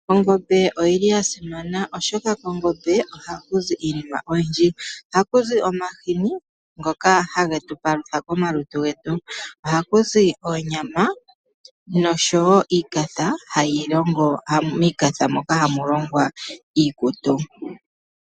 Ongombe oyili yasimana oshoka kongombe ohakuzi iinima oyindji . Ohakuzi omahini ngoka hage tupalutha komalutu getu. Ohakuzi oonyama noshowo iikatha moka hamu longwa iikutu.